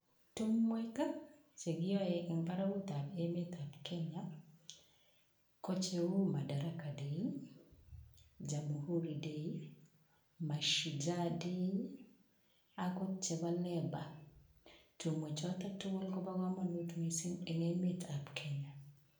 Tumwek che kiyae eng barakutab emetab kenya ko cheu madaraka day, Jamhuri day[, Mashujaa day akot chebo Labour. Tumwek choto tugul ko bo kamanut eng emetab kenya.